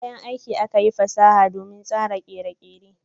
Da kayan aiki fasaha akayi domin tsara kere-kere.